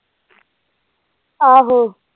ਆਹੋ।